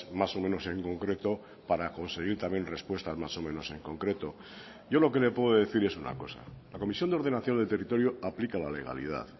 más o menos en concreto para conseguir también respuestas más o menos en concreto yo lo que le puedo decir es una cosa la comisión de ordenación del territorio aplica la legalidad